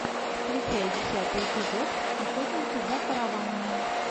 включай десятый эпизод охотники за караванами